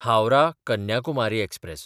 हावराह–कन्याकुमारी express